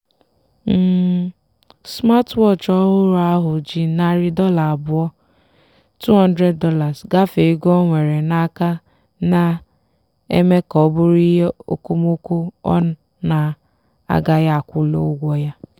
um smatwọọchị ọhụrụ ahụ ji narị dollar abụọ ($200) gafee ego o nwere n'aka na-eme ka ọ bụrụ ihe okomoko ọ na-agaghị akwụli ụgwọ ya.